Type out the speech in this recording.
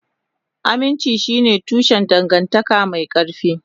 Aminci shine tushen dangantaka mai ƙarfi.